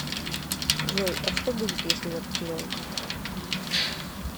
джой а что будет если я потеряю карту